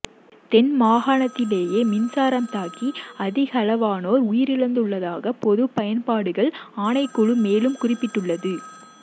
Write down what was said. தென் மாகாணத்திலேயே மின்சாரம் தாக்கி அதிகளவானோர் உயிரிழந்துள்ளதாக பொதுப் பயன்பாடுகள் ஆணைக்குழு மேலும் குறிப்பிட்டுள்ளது